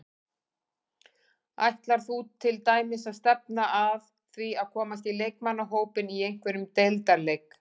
Ætlar þú til dæmis að stefna að því að komast í leikmannahópinn í einhverjum deildarleik?